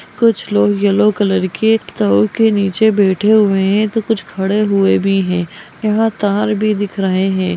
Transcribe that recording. कुछ लोग yellow colour की एक टोल के नीचे बैठे हुए है तो कुछ खड़े हुए भी है यहां तार भी दिख रहे है।